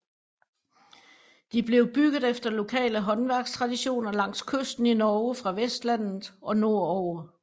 De blev bygget efter lokale håndværkstraditioner langs kysten i Norge fra Vestlandet og nord over